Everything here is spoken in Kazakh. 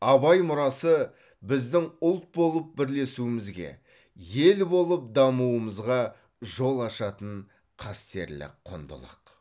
абай мұрасы біздің ұлт болып бірлесуімізге ел болып дамуымызға жол ашатын қастерлі құндылық